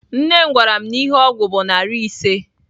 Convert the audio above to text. Nne m gwaram na ihe ogwu bu nari ise.